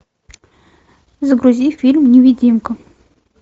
загрузи фильм невидимка